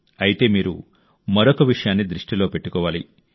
అయితే మీరు మరొక విషయాన్ని దృష్టిలో పెట్టుకోవాలి